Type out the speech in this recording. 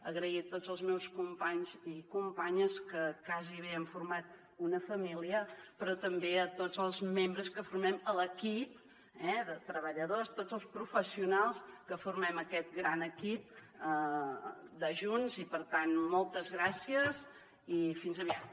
agraeixo a tots els meus companys i companyes que gairebé hem format una família però també tots els membres que formem l’equip de treballadors tots els professionals que formem aquest gran equip de junts i per tant moltes gràcies i fins aviat